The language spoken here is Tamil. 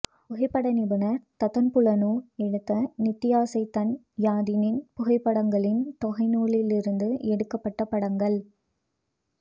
புகைப்பட நிபுணர் தத்தன் புனலூர் எடுத்த நித்யசைதன்ய யதியின் புகைப்படங்களின் தொகைநூலில் இருந்து எடுக்கபட்ட படங்கள்